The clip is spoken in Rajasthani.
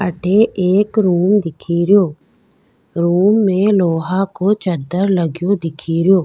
अठ एक रूम दिखेरो रूम में लोहा को चद्दर लगो दिख रो।